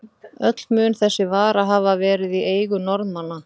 Öll mun þessi vara hafa verið í eigu Norðmanna.